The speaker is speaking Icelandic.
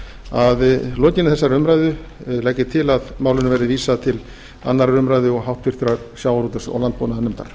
að lokinni þessari umræðu legg ég til að málinu verði vísað til annarrar umræðu og háttvirtur sjávarútvegs og landbúnaðarnefndar